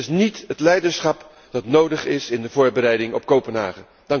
Dit is niet het leiderschap dat nodig is in de voorbereiding op Kopenhagen.